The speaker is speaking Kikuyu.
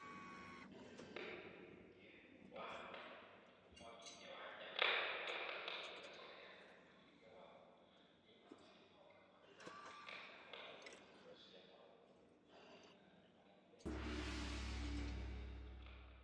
Rĩria hurũkĩte thĩiniĩ wa mwaki-inĩ wa nja, ng'ano irĩa ingĩenda kũheana makĩria wamo, nĩ ng'ano cia maũndũ ma tene, na o ho ng'ano cia maũndũ ma thirikari marĩa marekĩka ihinda-inĩ rĩrĩ.